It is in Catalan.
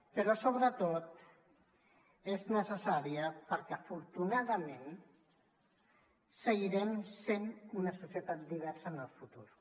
però sobretot és necessària perquè afortunadament seguirem essent una societat diversa en el futur